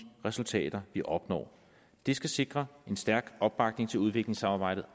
resultater vi opnår det skal sikre en stærk opbakning til udviklingssamarbejdet